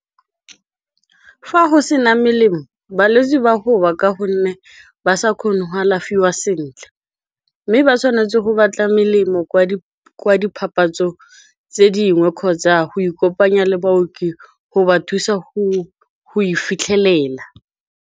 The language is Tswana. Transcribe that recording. Fa go sena melemo balwetse ba go wa, ka gonne ba sa kgone go alafiwa sentle. Mme ba tshwanetse go batla melemo kwa dpapatso tse dingwe kgotsa go ikopanya le baoki go ba thusa go e fitlhelela.